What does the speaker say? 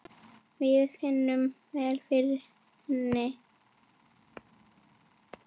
Við finnum vel fyrir henni.